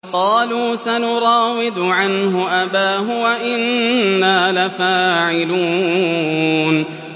قَالُوا سَنُرَاوِدُ عَنْهُ أَبَاهُ وَإِنَّا لَفَاعِلُونَ